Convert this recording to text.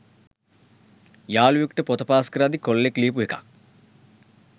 යාළුවෙක්ට පොත පාස් කරද්දි කොල්ලෙක් ලියපු එකක්